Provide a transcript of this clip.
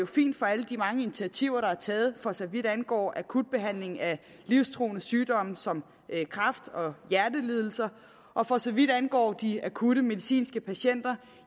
fint for alle de mange initiativer der er taget for så vidt angår akut behandling af livstruende sygdomme som kræft og hjertelidelser og for så vidt angår de akutte medicinske patienter